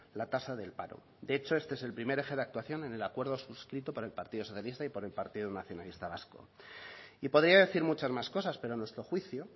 la tasa del paro de hecho este es el primer eje de actuación en el acuerdo suscrito por el partido socialista y por el partido nacionalista vasco y podría decir muchas más cosas pero a nuestro juicio